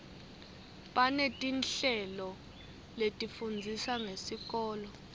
banetinhlelo letifundzisa ngesikolo